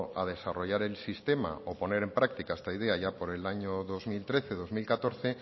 a desarrollar el sistema o a poner en práctica esta idea ya por el año dos mil trece dos mil catorce